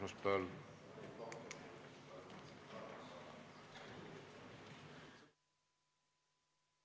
Istungi lõpp kell 12.50.